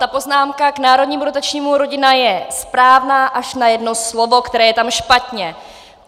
Ta poznámka k národnímu dotačnímu Rodina je správná až na jedno slovo, které je tam špatně.